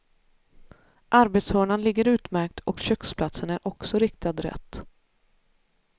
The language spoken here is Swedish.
Arbetshörnan ligger utmärkt och köksplatsen är också riktad rätt.